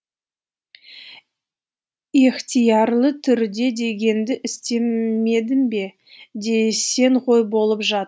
ехтиярлы түрде дегенді істемедің бе десең ғой болып жат